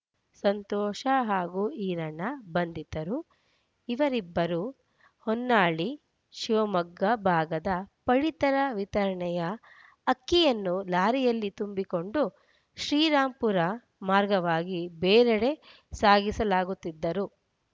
ಸಂತೋಷ ಹಾಗೂ ಈರಣ್ಣ ಬಂಧಿತರು ಇವರಿಬ್ಬರು ಹೊನ್ನಾಳಿ ಶಿವಮೊಗ್ಗ ಭಾಗದ ಪಡಿತರ ವಿತರಣೆಯ ಅಕ್ಕಿಯನ್ನು ಲಾರಿಯಲ್ಲಿ ತುಂಬಿಕೊಂಡು ಶ್ರೀರಾಂಪುರ ಮಾರ್ಗವಾಗಿ ಬೇರೆಡೆ ಸಾಗಿಸಲಾಗುತ್ತಿದ್ದರು